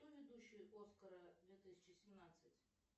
кто ведущий оскара две тысячи семнадцать